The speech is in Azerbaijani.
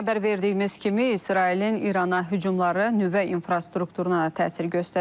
Xəbər verdiyimiz kimi, İsrailin İrana hücumları nüvə infrastrukturuna da təsir göstərib.